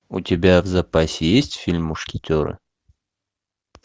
у тебя в запасе есть фильм мушкетеры